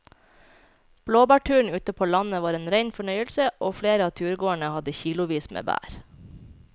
Blåbærturen ute på landet var en rein fornøyelse og flere av turgåerene hadde kilosvis med bær.